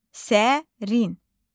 Sərin.